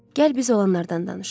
Gəl biz olanlardan danışaq.